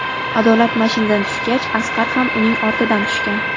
Adolat mashinadan tushgach Asqar ham uning ortidan tushgan.